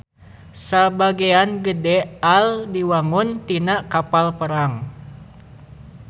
Sabagean gede AL diwangun tina kapal perang.